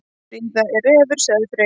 Fríða er refur, sagði Freyr.